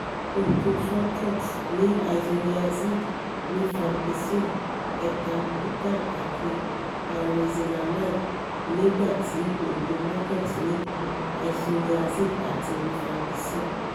oògùn forecox ní isoniazid rifampicin ethambutal àti pyrizinamide nígbà tí oògùn macox ní i soniazid àti rifampicin